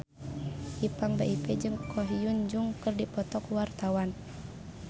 Ipank BIP jeung Ko Hyun Jung keur dipoto ku wartawan